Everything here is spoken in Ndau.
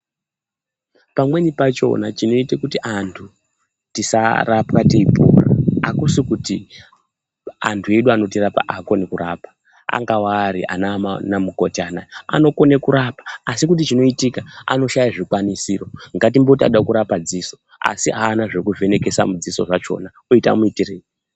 Pamweni pachona chinoita kuti antu tisarapwa teipora hakusi kuti antu edu anotirapa haakoni kurapa. Angawari anamukoti anaya, anokone kurapa asi kuti chinoitika kushaya zvikwanisiro. Ngatimboti anoda kurapa dziso asi haana zvekuvhenekesa mudziso zvachona. Oita womuitirei?